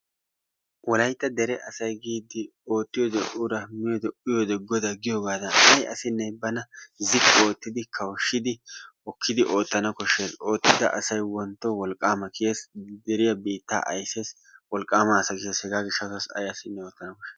Wolaytta asay giidi oottiyode ura miyode uyiyoode goda giyoogee bana ziqqi oottidi kawushshidi oottana koshshees. Oottida asay wontyo wolqqaama kiyees, deriya biittaa aysees wolqqaama as kiyees. Hegaa gishshatassi ay asinee oottana koshshees.